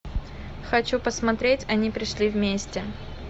хочу посмотреть они пришли вместе